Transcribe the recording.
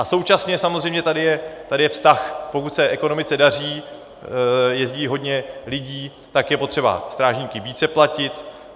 A současně samozřejmě je tady vztah, pokud se ekonomice daří, jezdí hodně lidí, tak je potřeba strážníky více platit.